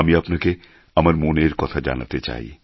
আমি আপনাকে আমার মনের কথা জানাতে চাই